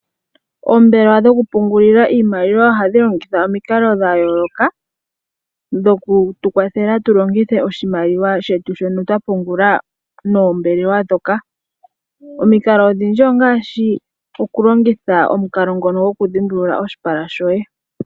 Oombelewa dhokupungulila iimaliwa ohadhi longitha omikalo dha yooloka dhoku tukwathela tu longithe oshimaliwa shetu shono twa pungula noombelewa ndhoka. Omikalo odhindji ongaashi okulongitha omukalo ngono goku dhimbulula oshipala shoye.